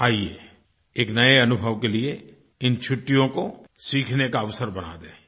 आइये एक नए अनुभव के लिए इन छुट्टियों को सीखने का अवसर बना दें